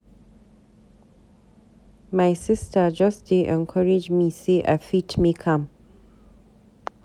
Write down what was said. My sista just dey encourage me sey I fit make am.